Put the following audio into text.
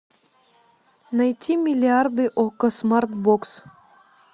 найти миллиарды окко смарт бокс